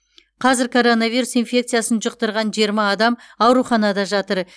қазір коронавирус инфекциясын жұқтырған жиырма адам ауруханада жатыр